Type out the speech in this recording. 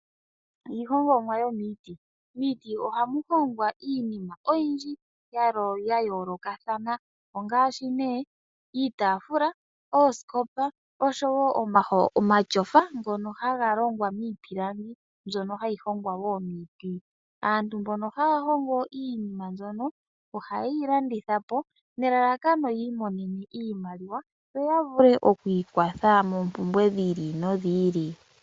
Iihongomwa yo miiti. Miiti ohamu hongwa iinima oyindji ya yoolokathana ongaashi nee iitafula, oosikopa, oshowo omatyofa ngono haga longwa miipilangi, mbyono hayi hongwa wo momiti. Aantu mbono haa hongo iinima mbyono, ohaye yi landithapo nelalakano ya imonene iimaliwa. Yo ya vule oku ikwatha moompumbwe dhi ili nodhi ili.